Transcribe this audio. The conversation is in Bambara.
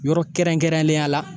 Yɔrɔ kɛrɛnkɛrɛnnenya la